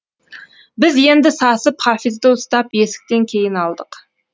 біз енді сасып хафизды ұстап есіктен кейін алдық